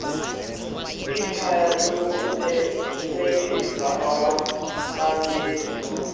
ikhaya lokubelekisa owazalelwa